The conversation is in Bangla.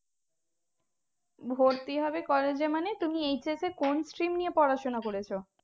ভর্তি হবি college এ মানে তুমি HS এ কোন stream নিয়ে পড়াশোনা করেছো